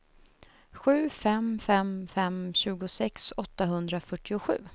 sju fem fem fem tjugosex åttahundrafyrtiosju